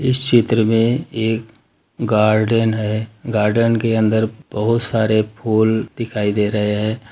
इस चित्र में एक गार्डन है गार्डन के अंदर बहुत सारे फूल दिखाई दे रहे हैं ।